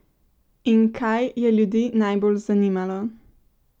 In kaj je ljudi najbolj zanimalo?